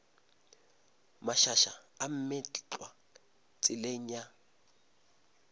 mašaša a meetlwa tseleng ya